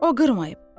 O qırmayıb.